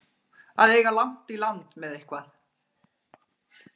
Að eiga langt í land með eitthvað